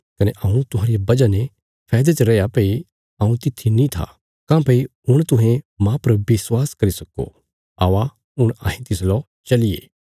कने हऊँ तुहांरिया वजह ने फैदे च रैया भई हऊँ तित्थी नीं था काँह्भई हुण तुहें मांह पर विश्वास करी सक्को औआ हुण अहें तिसलौ चलिये